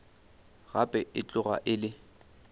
gape e tloga e le